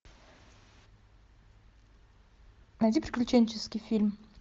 найди приключенческий фильм